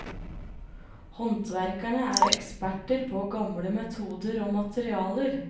Håndverkerne er eksperter på gamle metoder og materialer.